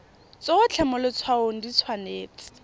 tsotlhe mo letshwaong di tshwanetse